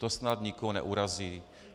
To snad nikoho neurazí.